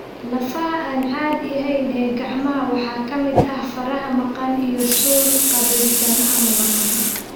Lafaha aan caadiga ahayn ee gacmaha waxaa ka mid ah faraha maqan (oligodactyly) iyo suul qaabaysan ama maqan.